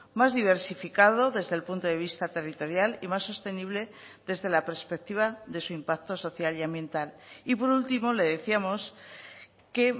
más diversificado desde el punto de vista territorial y más sostenible desde la perspectiva de su impacto social y ambiental y por último le decíamos que